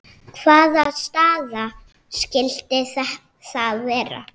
Hvaða staða skyldi það vera?